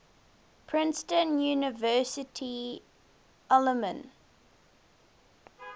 princeton university alumni